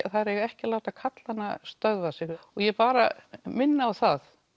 þær eiga ekki að láta karlana stöðva sig ég bara minni á það